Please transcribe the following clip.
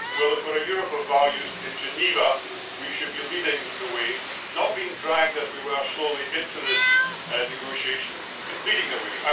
Well, if we're a Europe of values in Geneva, we should be leading the way, not being dragged, as we were, slowly into this negotiation, but leading the way.